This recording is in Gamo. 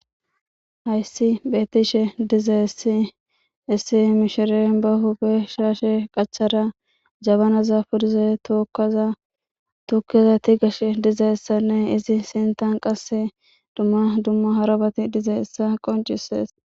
Hayssi bhetishe dizay issi issi mishiren ba hube shaashe qachara jabanaza furize tookaza tukkizati gashe dizayessanne izi sintan qasse dumma dumma harabati diza issa qoncisees.